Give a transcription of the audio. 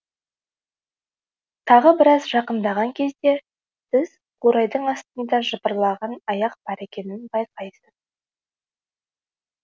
тағы біраз жақындаған кезде сіз қурайдың астында жыбырлаған аяқ бар екенін байқайсыз